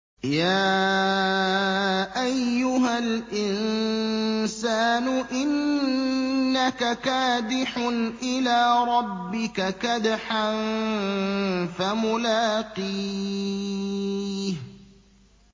يَا أَيُّهَا الْإِنسَانُ إِنَّكَ كَادِحٌ إِلَىٰ رَبِّكَ كَدْحًا فَمُلَاقِيهِ